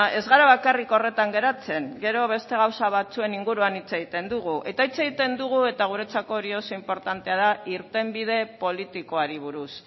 ez gara bakarrik horretan geratzen gero beste gauza batzuen inguruan hitz egiten dugu eta hitz egiten dugu eta guretzako hori oso inportantea da irtenbide politikoari buruz